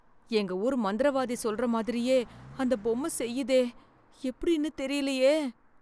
எங்க ஊர் மந்திரவாதி சொல்ற மாதிரியே அந்த பொம்ம செய்யுதே எப்படின்னு தெரியலியே.